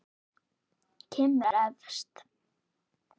Kim er efst.